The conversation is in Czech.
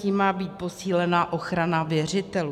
Tím má být posílena ochrana věřitelů.